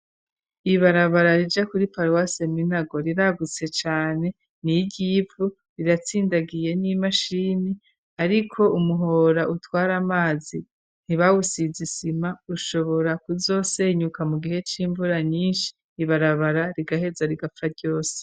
Ibarabara rija kuri paruwase seminago riragutse cyane ni iryivu riratsindagiye n'imashini ariko umuhora utwara amazi ntibawusizisima ushobora kuzosenyuka mu gihe c 'imvura nyinshi ibarabara rigaheza rigapfa ryose.